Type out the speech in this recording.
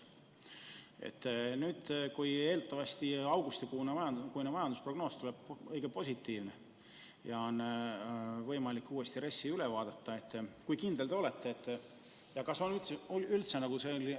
Kui aga augustikuine majandusprognoos tuleb eeldatavasti õige positiivne ja on võimalik RES uuesti üle vaadata, siis kui kindel te olete?